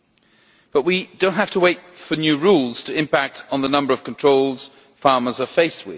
However, we do not have to wait for new rules to impact on the number of controls farmers face.